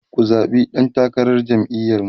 ku zaɓi ɗan takarar jam'iyar mu!